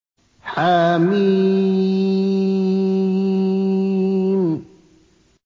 حم